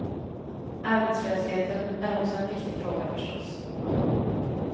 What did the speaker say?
Arbetslösheten är också en viktig fråga förstås.